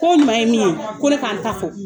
Ko o ɲuma ye min ye, ko ne k'an ta fɔ.